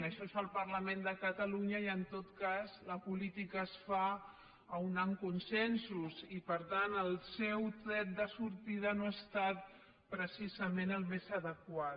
això és el parlament de catalunya i en tot cas la política es fa unint consensos i per tant el seu tret de sortida no ha estat precisament el més adequat